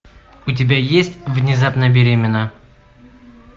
у тебя есть внезапно беременна